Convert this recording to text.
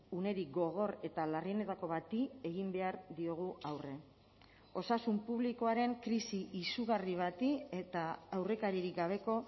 unerik gogor eta larrienetako bati egin behar diogu aurre osasun publikoaren krisi izugarri bati eta aurrekaririk gabeko